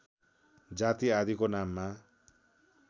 जाति आदिको नाममा